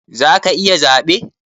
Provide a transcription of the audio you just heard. Za ka yi zaɓe?